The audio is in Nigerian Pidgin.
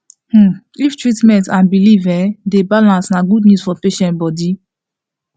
hmm if treatment and belief en dey balance na good news for patient body